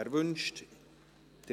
– Er wünscht es.